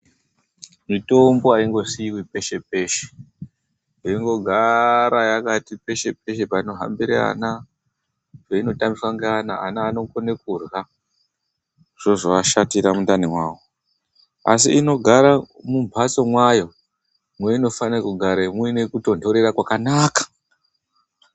Mitombo haingosiiwi peshe-peshe, yeingogara yakati peshe-peshe panohambira ana nepeinotambiswa neana. Ana anokona kurya zvozoashatira mundani mawo. Asi inogara mumhatso mwayo mwainofanira kugara muine kutonhorera kwakanaka.